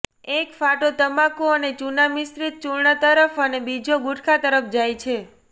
એક ફાંટો તમાકુ અને ચૂના મિશ્રિત ચૂર્ણ તરફ અને બીજો ગુટખા તરફ જાય છે